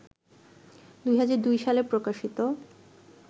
২০০২ সালে প্রকাশিত